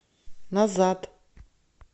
назад